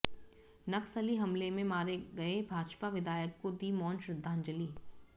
नक्सली हमले में मारे गये भाजपा विधायक को दी मौन श्रद्धांजलि